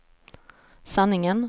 sanningen